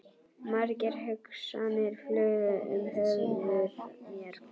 Margar hugsanir flugu um höfuð mér.